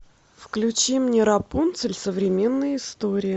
включи мне рапунцель современная история